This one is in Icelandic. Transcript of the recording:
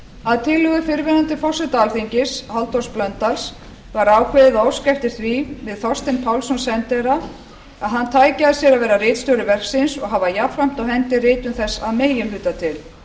að tillögu fyrrverandi forseta alþingis halldórs blöndals var ákveðið að óska eftir því við þorstein pálsson sendiherra að hann tæki að sér að vera ritstjóri verksins og hafa jafnframt á hendi ritun þess að meginhluta til